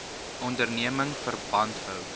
onderneming verband hou